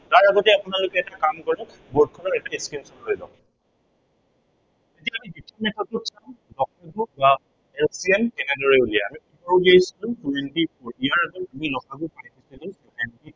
তাৰ আগতে আপোনালোকে এটা কাম কৰক board খনৰ এটা screenshot লৈ লওক। ঠিক আছে, এতিয়া আমি LCM কেনেদৰে উলিয়াম। কি উলিয়াইছিলো twenty four ইয়াৰ আগতে আমি ল সা গু